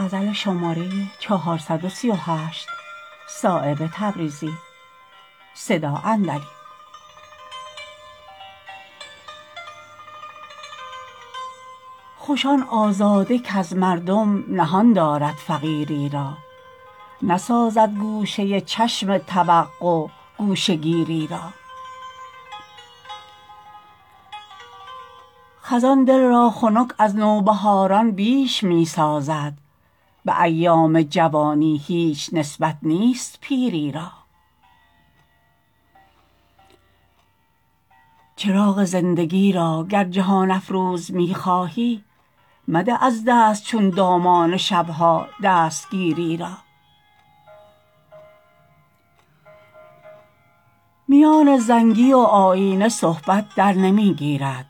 خوش آن آزاده کز مردم نهان دارد فقیری را نسازد گوشه چشم توقع گوشه گیری را خزان دل را خنک از نوبهاران بیش می سازد به ایام جوانی هیچ نسبت نیست پیری را چراغ زندگی را گر جهان افروز می خواهی مده از دست چون دامان شب ها دستگیری را میان زنگی و آیینه صحبت در نمی گیرد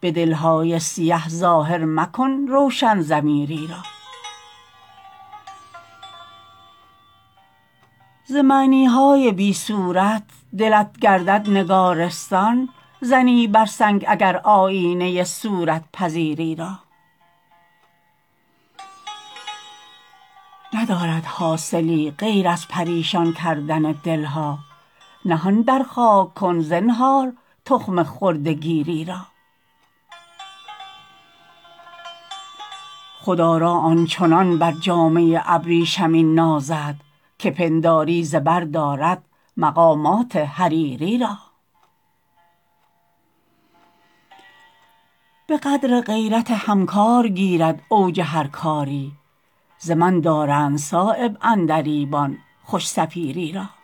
به دل های سیه ظاهر مکن روشن ضمیری را ز معنی های بی صورت دلت گردد نگارستان زنی بر سنگ اگر آیینه صورت پذیری را ندارد حاصلی غیر از پریشان کردن دلها نهان در خاک کن زنهار تخم خرده گیری را خودآرا آنچنان بر جامه ابریشمین نازد که پنداری زبر دارد مقامات حریری را به قدر غیرت همکار گیرد اوج هر کاری ز من دارند صایب عندلیبان خوش صفیری را